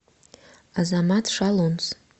азамат шалунц